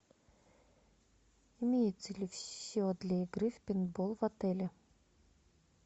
имеется ли все для игры в пейнтбол в отеле